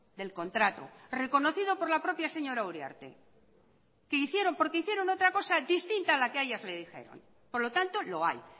del contrato reconocido por la propias señora uriarte que hicieron porque hicieron otra cosa distinta a la que a ellas le dijeron por lo tanto lo hay